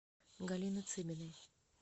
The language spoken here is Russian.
галины цыбиной